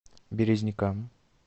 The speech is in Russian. березникам